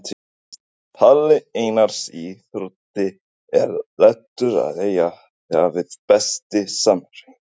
Palli Einars í Þrótti er léttur að eiga við Besti samherjinn?